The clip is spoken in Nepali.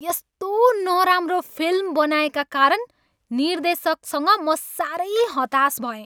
यस्तो नराम्रो फिल्म बनाएका कारण निर्देशकसँग म साह्रै हताश भएँ।